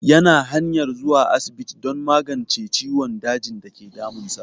Ya na hanyar zuwa asibiti don magance ciwon dajin dake damun sa